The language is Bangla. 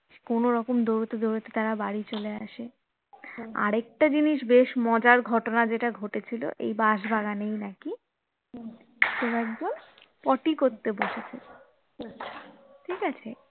কোনোরকম দৌড়োতে দৌড়োতে তারা বাড়ি চলে আসে আরেকটা জিনিস বেশ মজার ঘটনা যেটা ঘটেছিল এই বাঁশবাগানেই নাকি কেউ একজন পটি করতে বসেছে ঠিকাছে